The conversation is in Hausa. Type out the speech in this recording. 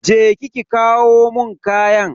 Je ki ki kawo mun kayan.